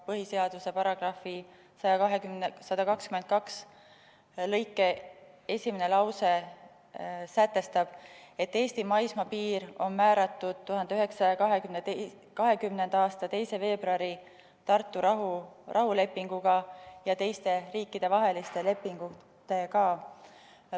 Põhiseaduse § 122 esimene lause sätestab, et Eesti maismaapiir on määratud 1920. aasta 2. veebruari Tartu rahulepinguga ja teiste riikidevaheliste piirilepingutega.